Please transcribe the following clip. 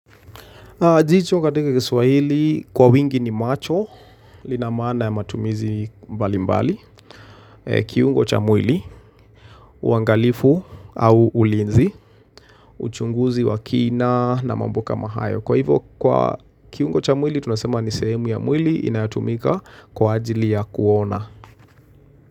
Jicho katika kiswahili kwa wingi ni macho, linamaana ya matumizi mbali mbali, kiungo cha mwili, uangalifu au ulinzi, uchunguzi wa kina na mambo kama hayo. Kwa hivo kwa kiungo cha mwili, tunasema ni sehemu ya mwili inayotumika kwa ajili ya kuona.